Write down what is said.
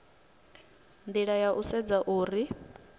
nila ya u sedza uri